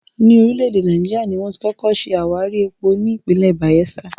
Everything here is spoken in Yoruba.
Ní orílẹ̀ èdè Náíjà, ni wón ti kọ́kọ́ ṣe àwárí epo ní ìpínlẹ̀ Bàyẹ́sà